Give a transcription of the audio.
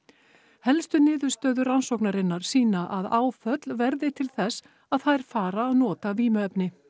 helstu niðurstöður rannsóknarinnar sýna að áföll verði til þess að þær fara að nota vímuefni